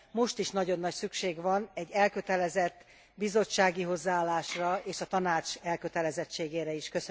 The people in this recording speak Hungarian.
Most is nagyon nagy szükség van egy elkötelezett bizottsági hozzáállásra és a Tanács elkötelezettségére is.